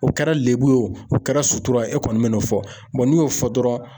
O kɛra lebu ye o, u kɛra sutura ye, e kɔni bɛ n'o fɔ n'i y'o fɔ dɔrɔn.